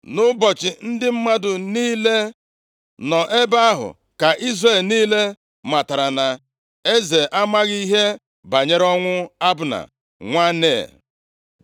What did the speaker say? Nʼụbọchị ndị mmadụ niile nọ ebe ahụ ka Izrel niile matara na eze amaghị ihe banyere ọnwụ Abna, nwa Nea.